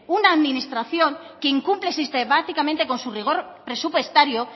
una administración que incumple sistemáticamente con su rigor presupuestario